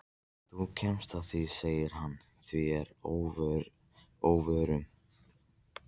Þú kemst að því sagði hann mér að óvörum.